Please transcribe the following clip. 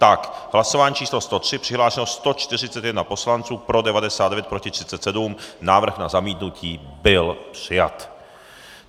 V hlasování číslo 103 přihlášeno 141 poslanců, pro 99, proti 37, návrh na zamítnutí byl přijat.